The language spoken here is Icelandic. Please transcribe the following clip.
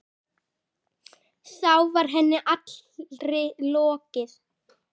Þá var henni allri lokið.